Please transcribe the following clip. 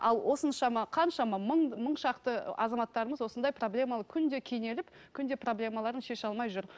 ал осыншама қаншама мың мың шақты азаматтарымыз осындай проблемалы күнде кенеліп күнде проблемаларын шеше алмай жүр